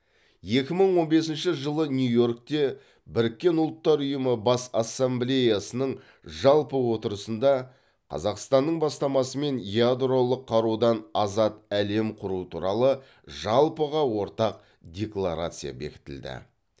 екі мың он бесінші жылы нью йоркте біріккен ұлттар ұйымы бас ассамблеясының жалпы отырысында қазақстанның бастамасымен ядролық қарудан азат әлем құру туралы жалпыға ортақ декларация бекітілді